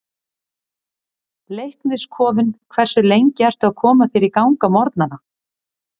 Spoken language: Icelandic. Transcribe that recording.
Leiknis kofinn Hversu lengi ertu að koma þér í gang á morgnanna?